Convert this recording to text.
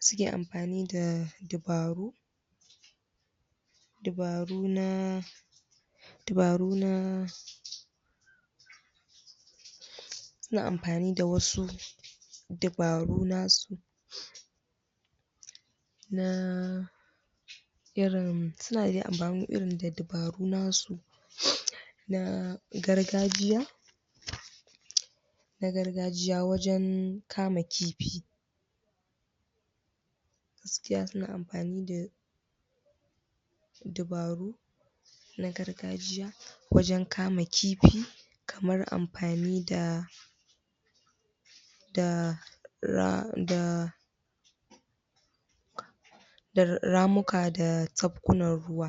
suke amfani da dabaru dabaru na dabaru na suna amfani da wasu dabaru nasu na irin suna amfani da dabaru nasu na gargajiya na gargajiya wajen kama kifi suna amfani da dabaru na gargajiya wajen kama kifi kamar amfani da da ra da da ramuta da tsakkunan ruwa